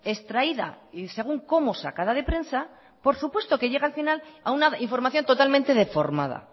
extraída y según cómo sacada de prensa por supuesto que llega al final a una información totalmente deformada